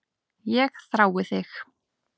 Ég þrái þig.